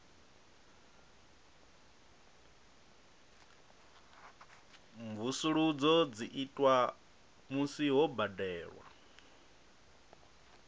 mvusuludzo dzi itwa musi ho badelwa